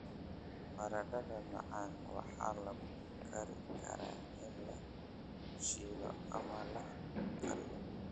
Baradhada macaan waxaa lagu kari karaa in la shiilo ama la kariyo.